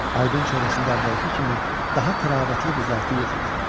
Aydın çöhrəsində əvvəlki kimi daha təravətli qızartı yox idi.